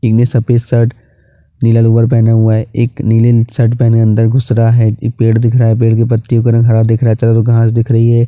इन्है सफ़ेद शर्ट नीला गॉगल पहना हुआ है एक नीले ने शर्ट पहना है अन्दर घुस रहा है एक पेड़ दिख रहा है पेड़ के ऊपर पत्तो का रंग हरा दिख रहा है चारो ओर घाँस दिख रही है।